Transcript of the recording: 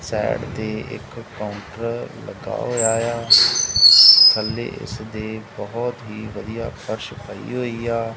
Side ਤੇ ਇੱਕ counter ਲੱਗਾ ਹੋਇਆ ਏ ਆ ਥੱਲੇ ਇਸ ਦੇ ਬਹੁਤ ਹੀ ਵਧੀਆ ਫ਼ਰਸ਼ ਪਈ ਹੋਈ ਆ।